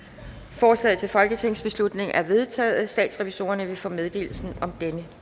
forslaget til folketingsbeslutning er vedtaget statsrevisorerne vil få meddelelse om denne